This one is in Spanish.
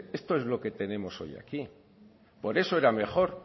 esto es lo que tenemos hoy aquí por eso era mejor